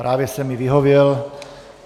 Právě jsem jí vyhověl.